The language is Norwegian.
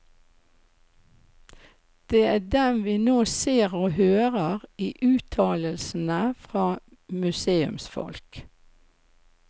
Det er dem vi nå ser og hører i uttalelsene fra museumsfolk.